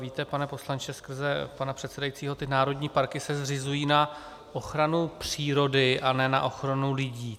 Víte, pane poslanče skrze pana předsedajícího, ty národní parky se zřizují na ochranu přírody a ne na ochranu lidí.